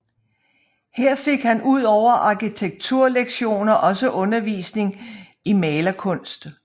Her fik han ud over arkitekturlektioner også undervisning i malerkunst